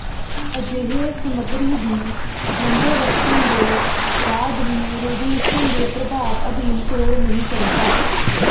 ਅਜਿਹੇ ਸਮੱਗਰੀ ਦੀ ਲੰਬੇ ਵਰਤਣ ਦੇ ਬਾਅਦ ਵੀ ਰੇਡੀਏਸ਼ਨ ਦੇ ਪ੍ਰਭਾਵ ਅਧੀਨ ਤੋੜ ਨਹੀ ਕਰੇਗਾ